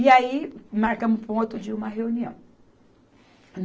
E aí, marcamos para um outro dia uma reunião.